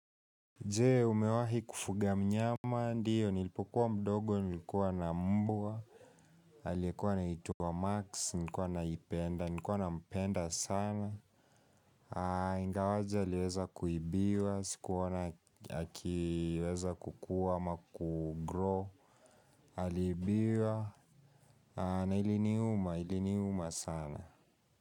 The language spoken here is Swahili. Je, umewahi kufuga mnyama ndiyo, nilipokuwa mdogo, nilikuwa na mbwa, alikuwa na anaitwa Max, nilkuwa naipenda, nilkuwa na mpenda sana. Ha, ingawaje aliweza kuibiwa, sikuona na akiweza kukua ama kugrow, alibiwa, na iliniuma, iliniuma sana.